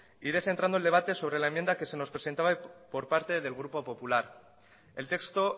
iré centrando el debate sobre la enmienda que se nos presentaba por parte del grupo popular el texto